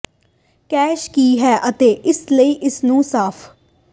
cash ਕੀ ਹੈ ਅਤੇ ਇਸੇ ਲਈ ਇਸ ਨੂੰ ਸਾਫ